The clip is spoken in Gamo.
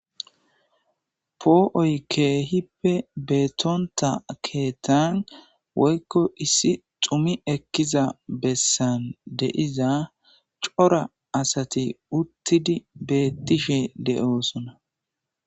poo7oy keehippe beetonta keetaan woykko issi xumi ekkiza bessan deiza cora asati uttidi beettishe le7oosona